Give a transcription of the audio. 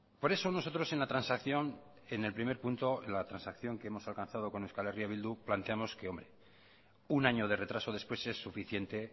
por eso nosotros en la transacción en el primer punto en la transacción que hemos alcanzado con eh bildu planteamos que un año de retraso después es suficiente